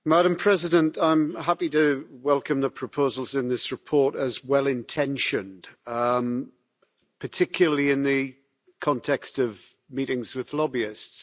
Madam President, I am happy to welcome the proposals in this report as well intentioned, particularly in the context of meetings with lobbyists.